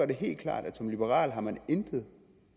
det helt klart at som liberal har man intet